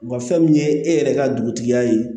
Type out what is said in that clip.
Wa fɛn min ye e yɛrɛ ka dugutigiya ye